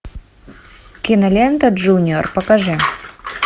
кинолента джуниор покажи